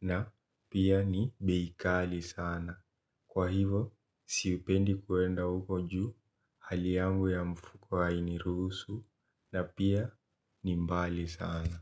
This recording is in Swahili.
na pia ni bei kali sana kwa hivo sipendi kuenda huko juu haliangu ya mfuko ainirusu na pia ni mbali sana.